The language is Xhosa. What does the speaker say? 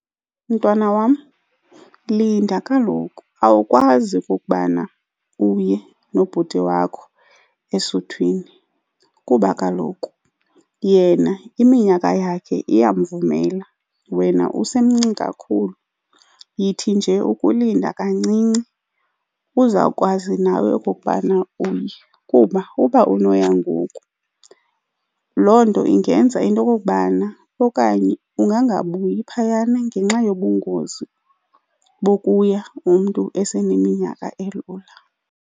Mntwana wam, linda kaloku. Awukwazi ukubana uye nobhuti wakho esuthwini kuba kaloku yena iminyaka yakhe iyamvumela wena usemncinci kakhulu. Yithi nje ukulinda kancinci uza kwazi nawe okokubana uye kuba uba unoya ngoku loo nto ingenza into okokubana okanye ungangabuyi phayana ngenxa yobungozi bokuya umntu eseneminyaka elula.